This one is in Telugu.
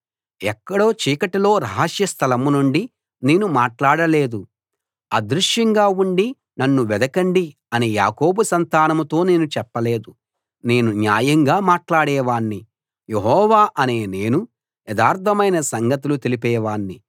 ఎక్కడో చీకటిలో రహస్య స్థలం నుండి నేను మాట్లాడలేదు అదృశ్యంగా ఉండి నన్ను వెదకండి అని యాకోబు సంతానంతో నేను చెప్పలేదు నేను న్యాయంగా మాట్లాడేవాణ్ణి యెహోవా అనే నేను యథార్థమైన సంగతులు తెలిపేవాణ్ణి